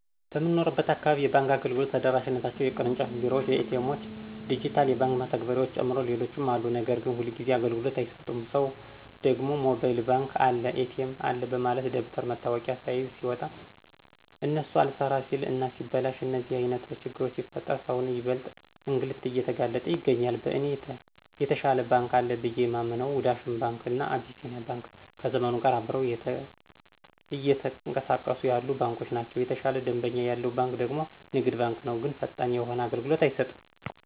በምንኖርበት አካባቢ የባንክ አገልግሎቶች ተደራሽነታቸው የቅርጫፍ ቢሮዎች፣ ኤ.ቲ. ኤሞዎች፣ ድጅታል የባክ መተግበርያዎችን ጨምሮ ሌሎችም አሉ ነገር ግን ሁልጊዜ አገልግሎት አይሰጡም ሰው ደግሞ ሞባይል ባንክ አለ፣ ኤ.ቲ.ኤም አለ በማለት ደብተር መታወቂያ ስይዝ ሲወጣ እነሱ አልሰራ ሲል እና ሲበላሽ እንደዚህ አይነት ችግሮች ሲፈጠር ሰውን ይበልጥ እንግልት እየተጋለጠ ይገኛል። በእኔ የተሻለ ባንክ አለ ብየ የማምንው ዳሽን ባንክ እና አቢሲኒያ ባንክ ከዘመኑ ጋር አብረው እየተኅቀሳቀሱ ያሉ ባንኮች ናቸው። የተሻለ ደንበኛ ያለው ባንክ ደግሞ ንግድ ባንክ ነው ግን ፈጣን የሆነ አገልሎት አይሰጥም።